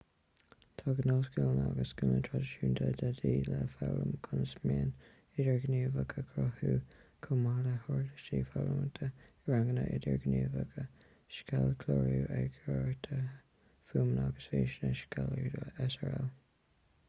tá gnáthscileanna agus scileanna traidisiúnta de dhíth le foghlaim conas meáin idirghníomhach a chruthú chomh maith le huirlisí foghlamtha i ranganna idirghníomhacha scéalchlárú eagarthóireacht fuaime agus físe scéalaíocht srl.